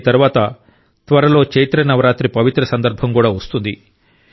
దీని తరువాత త్వరలో చైత్ర నవరాత్రి పవిత్ర సందర్భం కూడా వస్తుంది